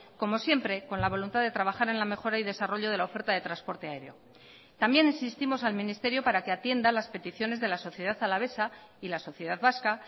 como siempre con la voluntad de trabajar en la mejora y desarrollo de la oferta de transporte aéreo también insistimos al ministerio para que atienda las peticiones de la sociedad alavesa y la sociedad vasca